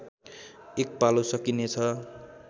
एक पालो सकिनेछ